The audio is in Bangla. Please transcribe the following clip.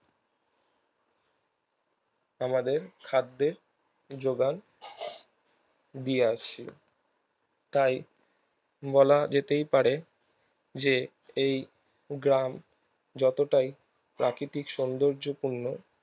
আমাদের খাদ্যের যোগান দিয়ে আসছিল তাই বলা যেতেই পারে যে এই গ্রাম যতটাই প্রাকৃতিক সৌন্দযপূর্ণ